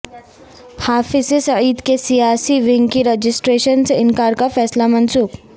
حافظ سعید کے سیاسی ونگ کی رجسٹریشن سے انکار کا فیصلہ منسوخ